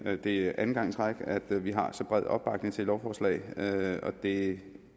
at det er anden gang i træk at vi har så bred opbakning til lovforslaget og det